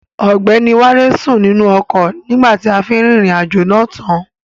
Ọgbẹ́ni wálé sùn nínú ọkọ̀ nígbà tí a fi rìnrìn àjò náà tán.